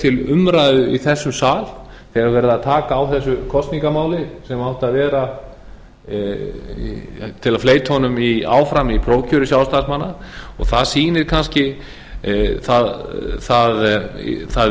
til umræðu í þessum sal þegar er verið að taka á þessu kosningamáli sem átti að vera til að fleyta honum áfram í prófkjöri sjálfstæðismanna og það sýnir kannski það